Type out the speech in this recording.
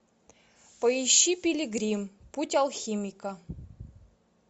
поищи пилигрим путь алхимика